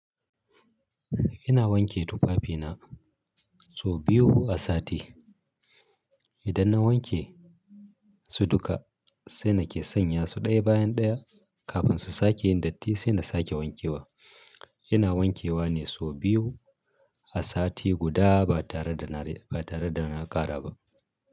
Ina wanke tufafina sau biyu a sati. Idan na wanke su duka sai na ke sanya su ɗaya bayan ɗaya kafin su sake yin datti sai na sake wankewa. Ina wankewa ne sau biyu a sati guda ba tare da na ƙara ba.